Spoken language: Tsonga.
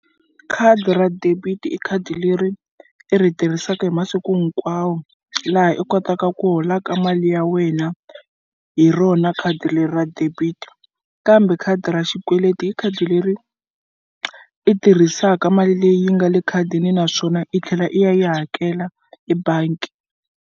Khadi ra debit i khadi leri i ri tirhisaka hi masiku hinkwawo laha i kotaka ku holaka mali ya wena hi rona khadi leri ra debit-i kambe khadi ra xikweleti hi khadi leri i tirhisaka mali leyi nga le ekhadini naswona i tlhela i ya yi hakela ebangi.